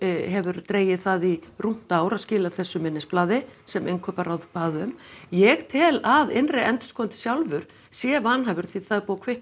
hefur dregið það í rúmt ár að skila þessu minnisblaði sem innkauparáð bað um ég tel að innri endurskoðandi sjálfur sé vanhæfur því það er búið að kvitta